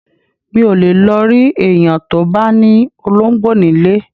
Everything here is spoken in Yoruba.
Mi ò lè lọ rí èèyàn tó bá ní olóńgbò nílé